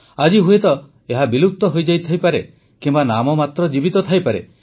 ଆଜି ହୁଏତ ଏହା ବିଲୁପ୍ତ ହୋଇଯାଇଥାଇ ପାରେ କିମ୍ବା ନାମମାତ୍ର ଜୀବିତ ଥାଇପାରେ